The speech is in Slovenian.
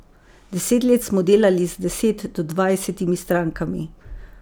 Deset let smo delali z deset do dvajsetimi strankami.